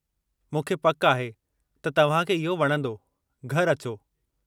मूंखे पकि आहे त तव्हां खे इहो वणंदो; घरि अचो!